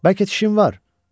Bəlkə dişin var?